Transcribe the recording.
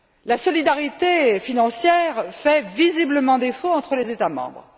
La solidarité financière fait visiblement défaut entre les États membres.